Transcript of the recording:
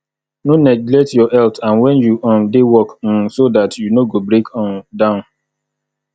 no neglect your health and when you um dey work um so dat you no go break um down